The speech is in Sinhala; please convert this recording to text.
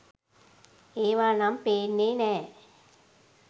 ඒවා නම් පේන්නේ නෑ.